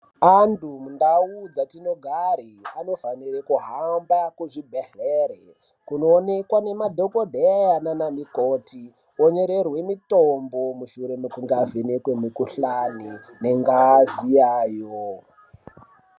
Antu mundau dzatinogare, anofanire kuhamba kuzvibhedhlera kunoonekwa nemadhogodheya nanamukoti vonyorerwe mitombo mushure mekunge vavhenekwa mikhuhlane nengazi yayo.